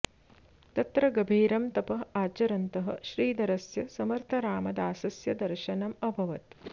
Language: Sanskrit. तत्र गभीरं तपः आरचरन्तः श्रीधरस्य समर्थरामदासस्य दर्शनम् अभवत्